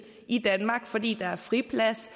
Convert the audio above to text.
i danmark fordi der er friplads